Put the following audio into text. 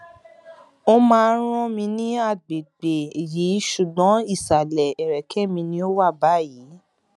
ó máa ń rán mi ní agbègbè yìí ṣùgbọn ìsàlẹ ẹrẹkẹ mi ni ó wà báyìí